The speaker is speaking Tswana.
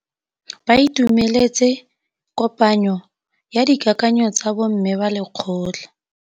Ba itumeletse kôpanyo ya dikakanyô tsa bo mme ba lekgotla.